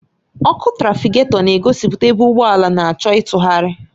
Ọkụ trafịgatọ na-egosipụta ebe ụgbọ na-achọ ịtụgharị.